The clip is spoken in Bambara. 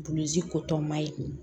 ko tɔ maɲi